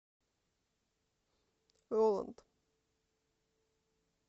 роланд